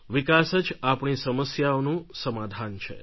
વિકાસ જ આપણી સમસ્યાઓનું સમાધાન છે